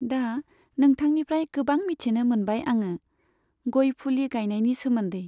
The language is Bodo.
दा नोंथांनिफ्राय गोबां मिन्थिनो मोनबाय आङो, गय फुलि गायनायनि सोमोन्दै।